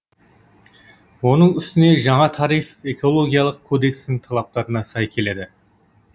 оның үстіне жаңа тариф экологиялық кодекстің талаптарына сай келеді